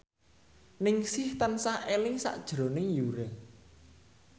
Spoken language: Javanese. Ningsih tansah eling sakjroning Yura